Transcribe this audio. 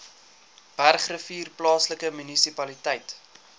bergrivier plaaslike munisipaliteit